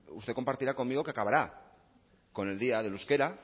usted compartirá conmigo que acabará con el día del euskara